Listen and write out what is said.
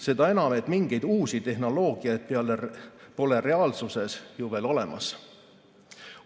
Seda enam, et mingeid uusi tehnoloogiaid pole reaalsuses ju veel olemas.